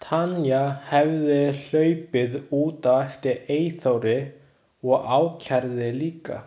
Tanya hefði hlaupið út á eftir Eyþóri og ákærði líka.